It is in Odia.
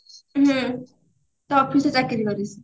ହୁଁ ତା office ରେ ଚାକିରି କରିଛି